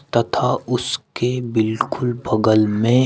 तथा उसके बिल्कुल बगल में--